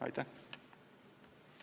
Aitäh!